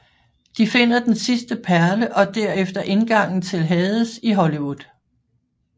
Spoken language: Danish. De finder den sidste perle og derefter indgangen til Hades i Hollywood